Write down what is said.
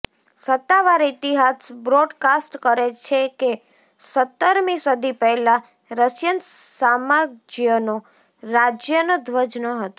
સત્તાવાર ઇતિહાસ બ્રોડકાસ્ટ કરે છે કે સત્તરમી સદી પહેલાં રશિયન સામ્રાજ્યનો રાજ્યનો ધ્વજ ન હતો